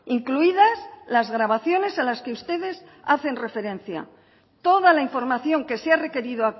incluidas las grabaciones a las que ustedes hacen referencia toda la información que se ha requerido